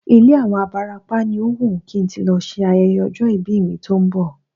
Ilé àwọn abarapá ni ó wùn kí n tí lọ ṣe ayẹyẹ ọjọ́ ìbí mi tó ń bọ̀